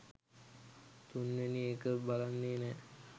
තුන්වෙනි එක බලන්නෙ නෑ